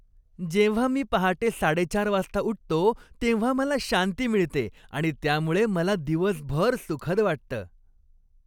जेव्हा मी पहाटे साडेचार वाजता उठतो तेव्हा मला शांती मिळते आणि त्यामुळे मला दिवसभर सुखद वाटतं.